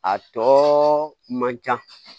A tɔ man can